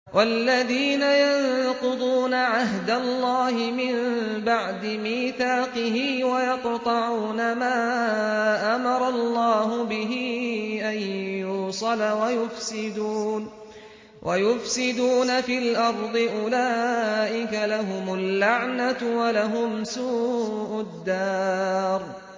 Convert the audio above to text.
وَالَّذِينَ يَنقُضُونَ عَهْدَ اللَّهِ مِن بَعْدِ مِيثَاقِهِ وَيَقْطَعُونَ مَا أَمَرَ اللَّهُ بِهِ أَن يُوصَلَ وَيُفْسِدُونَ فِي الْأَرْضِ ۙ أُولَٰئِكَ لَهُمُ اللَّعْنَةُ وَلَهُمْ سُوءُ الدَّارِ